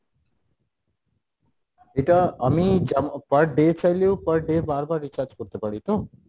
এটা আমি per day চাইলেও per day বারবার recharge করতে পারি তো?